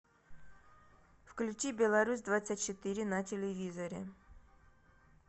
включи беларусь двадцать четыре на телевизоре